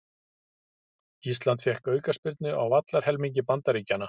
Ísland fékk aukaspyrnu á vallarhelmingi Bandaríkjanna